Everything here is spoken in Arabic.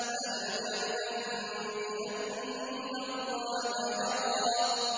أَلَمْ يَعْلَم بِأَنَّ اللَّهَ يَرَىٰ